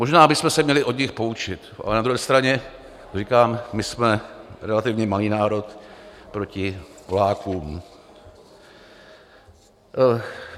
Možná bychom se měli od nich poučit, ale na druhé straně říkám, my jsme relativně malý národ proti Polákům.